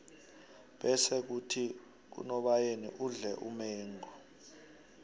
bese khuthi ngonobayeni udle umengo